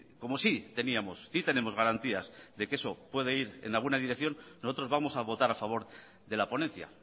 como sí teníamos sí tenemos garantías de que eso puede ir en alguna dirección nosotros vamos a votar a favor de la ponencia